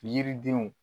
Yiridenw